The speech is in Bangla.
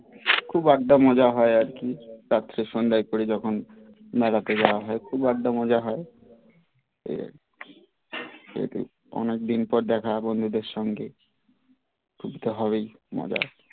খুব আড্ডা মজা হয় আর কি তার পর সন্ধ্যার পরে যখন মেলাতে যাওয়া হয় কিংবা আড্ডা মজা হয় এই আর কি এত অনেক দিন পর দেখা হয় বন্ধুদের সঙ্গে খুশি তো হবেই মজা